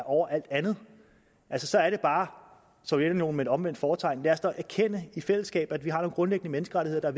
over alt andet altså så er det bare sovjetunionen med et omvendt fortegn lad os da erkende i fællesskab at vi har nogle grundlæggende menneskerettigheder